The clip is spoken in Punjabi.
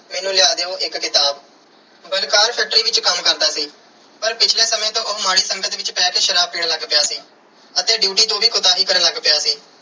ਮੈਨੂੰ ਲਿਆ ਦਿਓ ਇੱਕ ਕਿਤਾਬ। ਬਲਕਾਰ factory ਵਿੱਚ ਕੰਮ ਕਰਦਾ ਸੀ। ਪਰ ਪਿਛਲੇ ਸਮੇਂ ਤੋਂ ਉਹ ਮਾੜੀ ਸੰਗਤ ਵਿੱਚ ਪੈ ਕੇ ਸ਼ਰਾਬ ਪੀਣ ਲੱਗ ਪਿਆ ਸੀ ਅਤੇ ਡਿਊਟੀ ਤੋਂ ਵੀ ਕੁਤਾਹੀ ਕਰਨ ਲੱਗ ਪਿਆ ਸੀ।